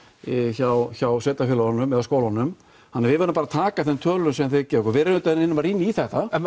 hjá hjá sveitarfélögunum eða skólunum þannig við verðum bara að taka þeim tölum sem þeir gefa okkur við auðvitað reynum að rýna í þetta en